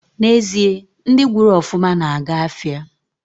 Na ezie, ndi gwuru ofuma na aga afia